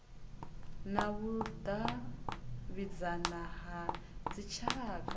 na vhudavhidzani ha dzitshaka u